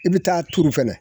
I bɛ taa tuuru fɛnɛ